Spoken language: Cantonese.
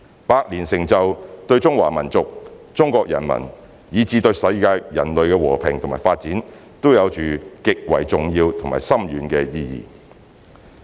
百年成就對中華民族、中國人民，以至對世界人類和平與發展都有着極為重要和深遠的意義。